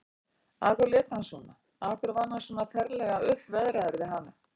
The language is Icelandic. Af hverju lét hann svona, af hverju var hann svona ferlega uppveðraður við hana?